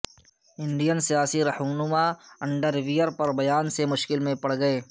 Indian سیاسی رہنما underwear پر بیان سے مشکل میں پڑ گئے